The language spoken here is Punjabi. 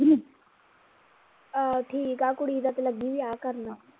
ਆਹ ਠੀਕ ਆ ਕੁੜੀ ਦਾ ਤਾਂ ਲੱਗੀ ਵਿਆਹ ਕਰਨ